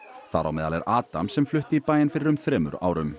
þar á meðal er Adam sem flutti í bæinn fyrir um þremur árum